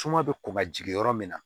Suma bɛ kɔn ka jigin yɔrɔ min na